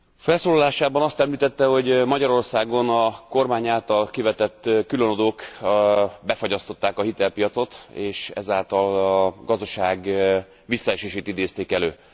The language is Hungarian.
Felszólalásában azt említette, hogy Magyarországon a kormány által kivetett különadók befagyasztották a hitelpiacot, és ezáltal a gazdaság visszaesését idézték elő.